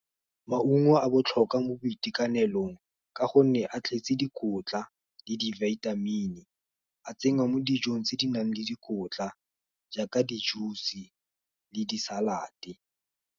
Maungo a botlhokwa mo boitekanelong, ka gonne a tletse dikotla, le di-vitamin-e a tsenngwa mo dijong tse di nang le dikotla, jaaka di-juice le di-salad-e.